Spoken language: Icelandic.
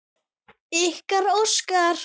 Ykkar, Óskar.